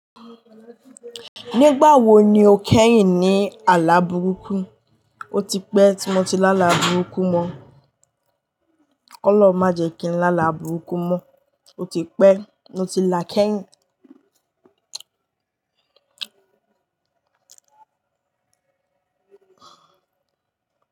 Nigba wo ni o keyin ni ala buruku. O ti pẹ́ tí mo ti lá àlà burúkú mọ. Ọlọ́run má jẹ ki n lá àlà burúkú mọ. O ti pẹ́ tí mo ti lá kẹ́yìn.